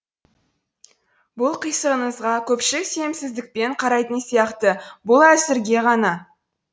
бұл қисыныңызға көпшілік сенімсіздікпен қарайтын сияқты бұл әзірге ғана